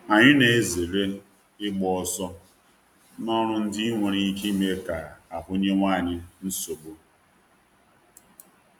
Anyụ na-ezere ịgba ọsọ n’ọrụ ndị nwere ike ime ka ahụ nyewe anyị nsogbu